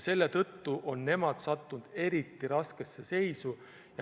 Selle tõttu on nad sattunud eriti raskesse seisu.